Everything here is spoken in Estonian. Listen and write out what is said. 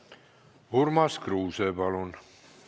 Urmas Kruuse, palun!